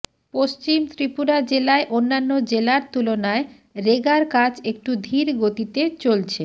পশ্চিম ত্রিপুরা জেলায় অন্যান্য জেলার তুলনায় রেগার কাজ একটু ধীর গতিতে চলছে